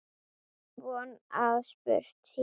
Von að spurt sé.